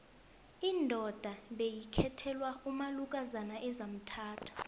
indoda beyikhethelwa umalukozana ezamthatha